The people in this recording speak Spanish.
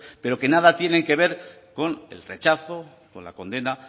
pero que nada tienen que ver con el rechazo con la condena